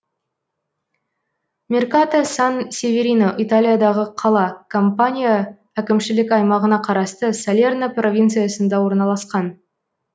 меркато сан северино италиядағы қала кампания әкімшілік аймағына қарасты салерно провинциясында орналасқан